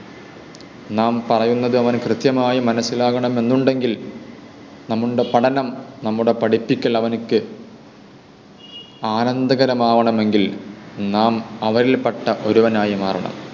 നാം പറയുന്നത് അവനു കൃത്യമായി മനസിലാകണം എന്നുണ്ടെങ്കിൽ നമ്മുടെ പഠനം നമ്മുടെ പഠിപ്പിക്കൽ അവനു ആനന്ദകരമാവണമെങ്കിൽ നാം അവരിൽപ്പെട്ട ഒരുവനായി മാറണം